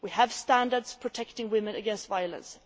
we have standards protecting women against violence